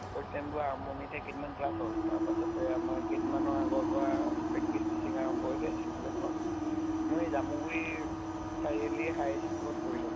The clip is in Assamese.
fourth sem টো আৰম্ভনিতে কেইদিন মান class হʼল, তাৰ পাছতে আমাৰ কেইদিন মানৰ আগৰ পৰা practice teaching আৰম্ভ হৈছে school এখনত। মই জামুগুৰি চাৰিআলি high school পৰিছো